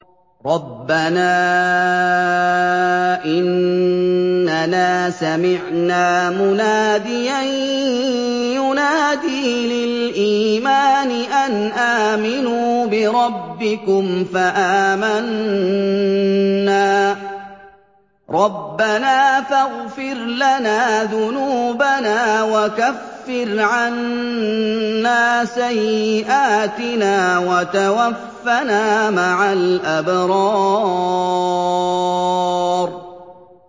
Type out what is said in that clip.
رَّبَّنَا إِنَّنَا سَمِعْنَا مُنَادِيًا يُنَادِي لِلْإِيمَانِ أَنْ آمِنُوا بِرَبِّكُمْ فَآمَنَّا ۚ رَبَّنَا فَاغْفِرْ لَنَا ذُنُوبَنَا وَكَفِّرْ عَنَّا سَيِّئَاتِنَا وَتَوَفَّنَا مَعَ الْأَبْرَارِ